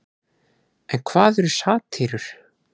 En hvað eru satírur?